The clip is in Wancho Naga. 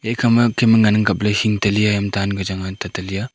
ekhama ma Kem e ngan ang kapley hing teli yaham danka chang a tatali a.